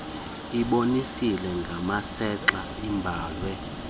ibonisiwe ngasentla ibhalwe